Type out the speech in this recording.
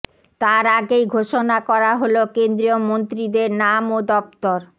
তার আগেই ঘোষণা করা হল কেন্দ্রীয় মন্ত্রীদের নাম ও দফতর